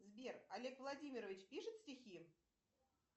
сбер олег владимирович пишет стихи